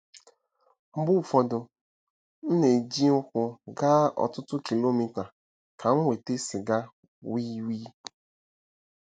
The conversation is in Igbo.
Mgbe ụfọdụ, m na-eji ụkwụ gaa ọtụtụ kilomita ka m nweta sịga wii wii.